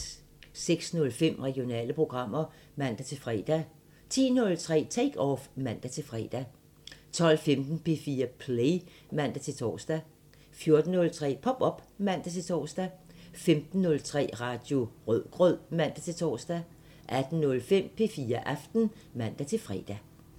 06:05: Regionale programmer (man-fre) 10:03: Take Off (man-fre) 12:15: P4 Play (man-tor) 14:03: Pop op (man-tor) 15:03: Radio Rødgrød (man-tor) 18:05: P4 Aften (man-fre)